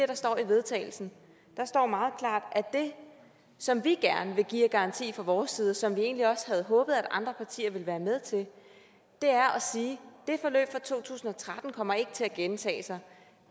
der står i vedtagelsen der står meget klart at det som vi gerne vil give af garanti fra vores side og som vi egentlig også havde håbet andre partier ville være med til er at sige det forløb fra to tusind og tretten kommer ikke til at gentage sig